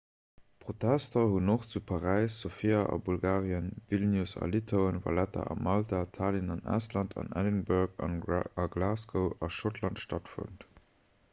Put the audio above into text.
protester hunn och zu paräis sofia a bulgarien vilnius a litauen valetta a malta tallinn an estland an edinburgh a glasgow a schottland stattfonnt